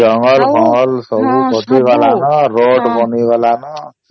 ଜଙ୍ଗଲ ଫାଙ୍ଗଳ ସବୁ କାଟି ଗଲା ନ road ବନି ଗଲା ନ